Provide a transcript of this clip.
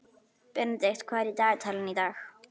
Benedikt, hvað er í dagatalinu í dag?